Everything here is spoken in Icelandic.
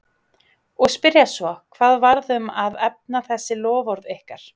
Og spyrja svo, hvað varð um að efna þessi loforð ykkar?